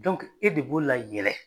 e de b'o la yen.